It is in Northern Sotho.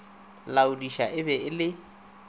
laodiša e be e le